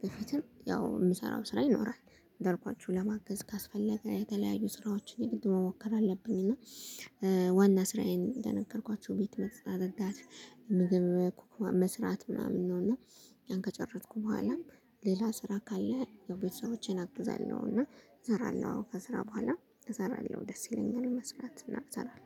በፊትም ያው የምሰራው ስራዬ ይኖራል እንዳልኳቹ ለማገዝ ካስፈለገ የተለያዩ ስራዎችን የግድ መሞከር አለብኝ። እና ዋና ስራዬን እንደነከርኳቹ ቤት ማጽዳት። ምግብ መስራት ምናምን ነው። እና ያን ከጨረስኩ በኋላ ሌላ ስራ ካለ ቤተሰቦቼን አግዛለሁና እሰራለሁ። ከስራ በኋላ እሰራለሁ ደስ ይለኛል መስራት እና እሰራለው